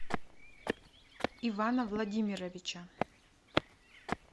ивана владимировича